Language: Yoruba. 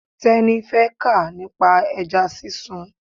Teni fẹ́ kà nípa ẹja sísun.